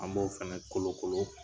An b'o fana kolo kolon.